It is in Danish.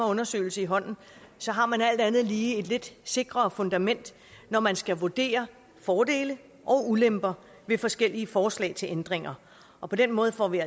undersøgelse i hånden har man alt andet lige et lidt sikrere fundament når man skal vurdere fordele og ulemper ved forskellige forslag til ændringer og på den måde får vi